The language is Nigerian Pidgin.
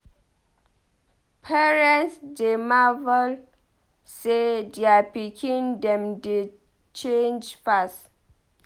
Parents dey marvel sey dier pikin dem dey change fast.